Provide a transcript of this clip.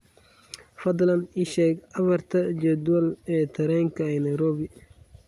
fadlan ii sheeg afarta jadwal ee tareenka ee nairobi